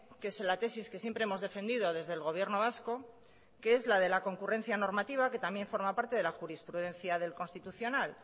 que es la tesis que siempre hemos defendido desde el gobierno vasco que es la de la concurrencia normativa que también forma parte de la jurisprudencia del constitucional